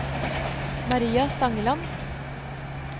Maria Stangeland